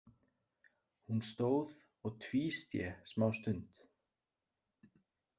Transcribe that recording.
Hún stóð og tvísté smástund.